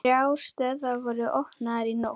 Þrjár stöðvar voru opnaðar í nótt